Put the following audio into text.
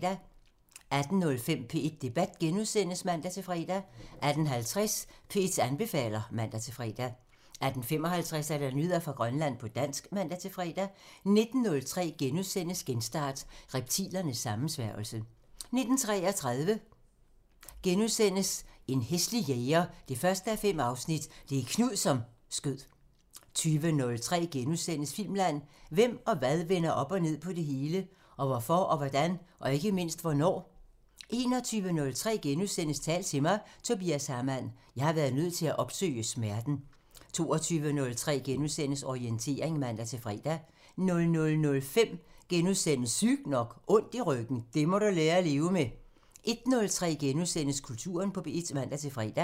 18:05: P1 Debat *(man-fre) 18:50: P1 anbefaler (man-fre) 18:55: Nyheder fra Grønland på dansk (man-fre) 19:03: Genstart: Reptilernes sammensværgelse * 19:33: En hæslig jæger 1:5 – Det er Knud, som skød * 20:03: Filmland: Hvem og hvad vender op og ned på det hele? Og hvorfor og hvordan? Og ikke mindst hvornår? * 21:03: Tal til mig – Tobias Hamann: "Jeg har været nødt til at opsøge smerten" * 22:03: Orientering *(man-fre) 00:05: Sygt nok: Ondt i ryggen – det må du lære at leve med * 01:03: Kulturen på P1 *(man-fre)